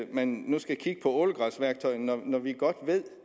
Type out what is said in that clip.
man nu skal kigge på ålegræsværktøjet når når vi godt ved